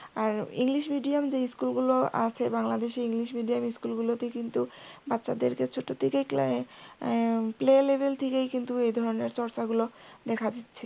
আর englishmedium যে school গুলো আছে বাংলাদেশে english medium school গুলোতে কিন্তু বাচ্চাদেরকে ছোট থেকেই প্রায় playlevel থেকেই কিন্তু এই ধরনের চর্চা গুলো দেখা যাচ্ছে।